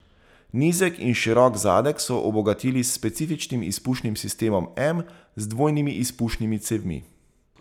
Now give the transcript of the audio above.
Nizek in širok zadek so obogatili s specifičnim izpušnim sistemom M z dvojnimi izpušnimi cevmi.